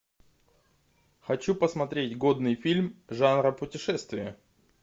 хочу посмотреть годный фильм жанра путешествия